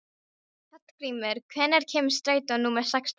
Hallgrímur, hvenær kemur strætó númer sextán?